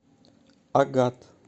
агат